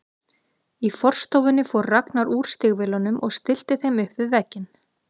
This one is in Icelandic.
Í forstofunni fór Ragnar úr stígvélunum og stillti þeim upp við vegginn.